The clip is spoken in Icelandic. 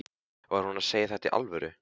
Var hún að segja þetta í alvöru?